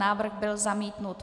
Návrh byl zamítnut.